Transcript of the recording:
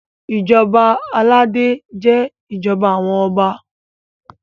ìjọba aládé jé ìjọba àwọn ọba